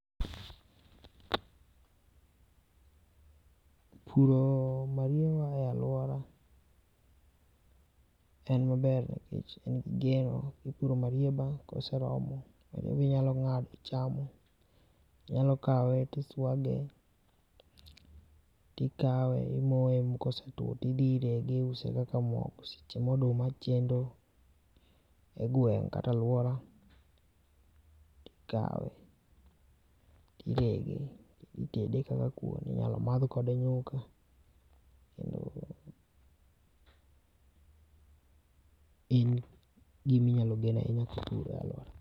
Puro mariewa e aluora en maber nikech en gi geno. Ka ipuro marieba ka ose romo en inyalo ng'ado to ichamo, inyalo kawe to iswage, tikae imoye to ka ose two to idine to iuse kaka mogo seche ma oduma chendo e gweng' kata e aluora to okawe, tirege to itede kaka kuon. Inyalo madh kode nyuka kendo en gima inyalo gen ahinya ka en e aluora.